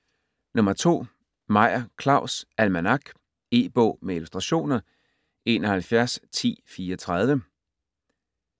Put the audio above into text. Meyer, Claus: Almanak E-bog med illustrationer 711034